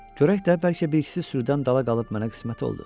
Görək də, bəlkə bir ikisi sürüdən dala qalıb mənə qismət oldu.